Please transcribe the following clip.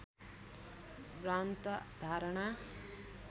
भ्रान्त धारणा